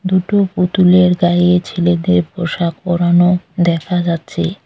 দুটো পুতুলের গায়ে ছেলেদের পোশাক পরানো দেখা যাচ্ছে।